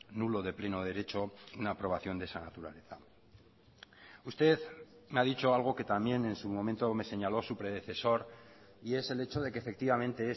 nulo de pleno derecho una aprobación de esa naturaleza usted me ha dicho algo que también en su momento me señaló su predecesor y es el hecho de que efectivamente